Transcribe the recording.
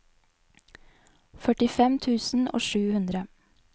førtifem tusen og sju hundre